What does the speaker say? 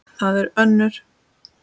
Það eru ömmur.